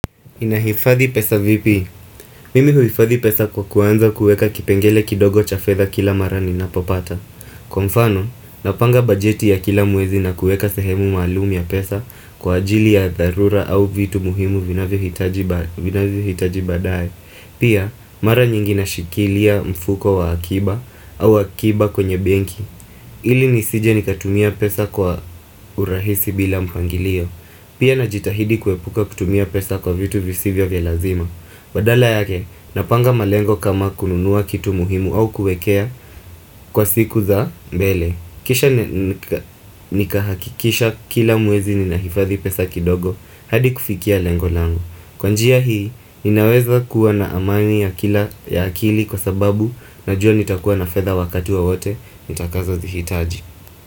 Ninahifadhi pesa vipi? Mimi huifadhi pesa kwa kuanza kueka kipengele kidogo cha fedha kila mara ninapopata. Kwa mfano, napanga bajeti ya kila mwezi na kueka sehemu maluum ya pesa kwa ajili ya dharura au vitu muhimu vinavyohitaji badaye. Pia, mara nyingi nashikilia mfuko wa akiba au akiba kwenye benki. Ili nisije nikatumia pesa kwa urahisi bila mpangilio. Pia najitahidi kuepuka kutumia pesa kwa vitu visivyo vya lazima badala yake, napanga malengo kama kununuwa kitu muhimu au kuekea kwa siku za mbele Kisha nikahakikisha kila mwezi ninahifadhi pesa kidogo hadi kufikia lengo lango Kwa njia hii, ninaweza kuwa na amani ya akili kwa sababu najua nitakuwa na fedha wakati wowote nitakazozihitaji.